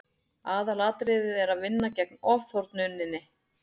aðalatriðið er að vinna gegn ofþornuninni